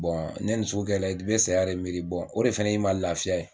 ne nin sugu kɛra la i bɛ saya de miiri o de fana ye i ma laafiya ye.